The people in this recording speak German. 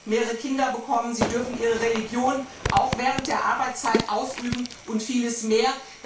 mehrere Kinder bekommen, sie dürfen ihre Religion auch während der Arbeitszeit ausüben und vieles mehr.